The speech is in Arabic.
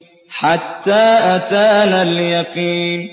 حَتَّىٰ أَتَانَا الْيَقِينُ